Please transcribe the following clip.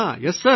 yes sir